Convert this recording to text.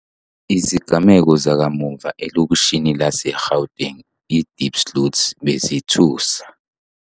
Izigameko zakamuva elokishini lase-Gauteng i-Diepsloot bezithusa.